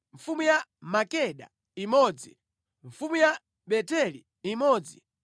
mfumu ya Makeda imodzi mfumu ya Beteli imodzi